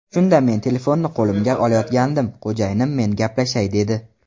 Shunda men telefonni qo‘limga olayotgandim, xo‘jayinim men gaplashay dedi.